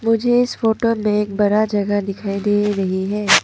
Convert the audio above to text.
मुझे इस फोटो में एक बरा जगह दिखाई दे रही है।